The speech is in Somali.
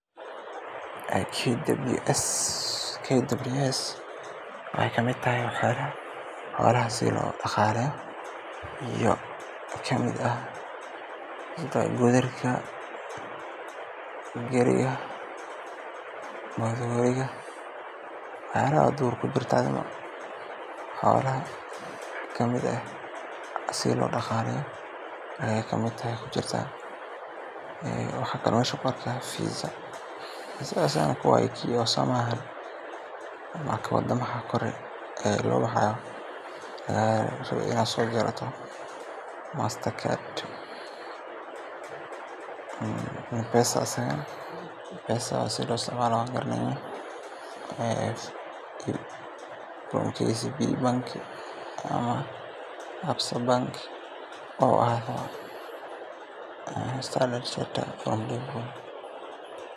KWS waxay ka mid tahay waxyaabaha xoolaha sidii loo dhaqaaleyn lahaa. Waxaa ka mid ah goodirka, gaariyada lagu qaado xoolaha, iyo qalabka kale ee lagu daryeelo. KWS waxaa laga fahmi karaa adeegyada la xiriira caafimaadka, quudinta, iyo ilaalinta xoolaha si loo hubiyo in ay helaan daryeel joogto ah. Waxaa kaloo qeyb ka ah tababaridda dadka xoolaha leh si ay ugu dhaqmaan hab casri ah oo kor u qaadaya wax-soo-saarka iyo caafimaadka xoolaha. Meeshaan waxaa si muuqata looga dareemayaa dadaal lagu bixinayo sidii xoolaha loogu heli lahaa adeegyo tayo leh oo noloshooda kor u qaada.